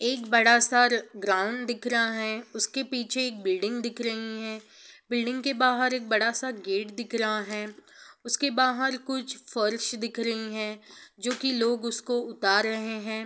एक बड़ा सा ल ग्राउंड दिख रहा है| उसके पीछे एक बिल्डिंग दिख रही है| बिल्डिंग के बाहर एक बड़ा सा गेट दिख रहा है| उसके बाहर कुछ फर्श दिख रहे हैं जो कि लोग उसको उतार रहे हैं ।